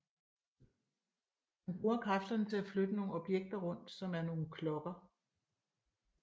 Hun bruger kræfterne til at flytte nogle objekter rundt som er nogle klokker